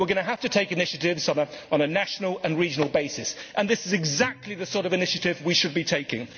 We are going to have to take initiatives on a national and a regional basis and this is exactly the sort of initiative we should be taking.